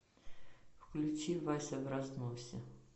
включи вася в разносе